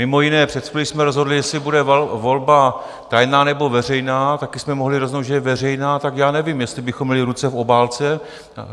Mimo jiné, před chvílí jsme rozhodli, jestli bude volba tajná, nebo veřejná, taky jsme mohli rozhodnout, že bude veřejná, tak já nevím, jestli bychom měli ruce v obálce...